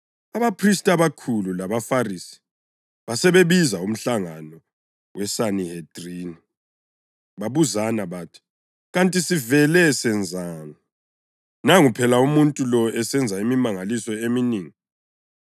Abaphristi abakhulu labaFarisi basebebiza umhlangano weSanihedrini. Babuzana bathi, “Kanti sivele senzani? Nangu phela umuntu lo esenza imimangaliso eminengi.